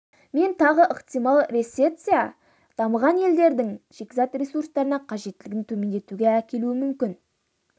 мен тағы ықтимал рецессия дамыған елдердің шикізат ресурстарына қажеттілігін төмендетуге әкелуі мүмкін